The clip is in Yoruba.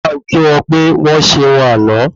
Bá n kí wọn pe wọ́n ṣeun àná